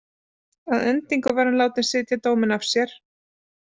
Að endingu var hann látinn sitja dóminn af sér.